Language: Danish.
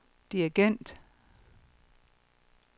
dirigent